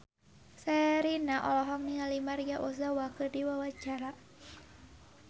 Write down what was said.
Sherina olohok ningali Maria Ozawa keur diwawancara